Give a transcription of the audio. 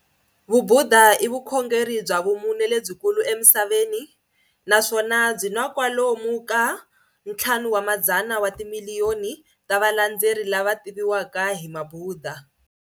Vubhuda i vukhongeri bya vumune lebyikulu emisaveni, naswona byina kwalomu ka 500 watimiliyoni ta valandzeri lava tiviwaka hi Mabhuda.